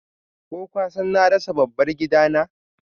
Ko kasan na rasa dabbar gidana?